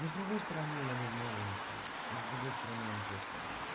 но с другой стороны я давно его нюхал но с другой стороны он просил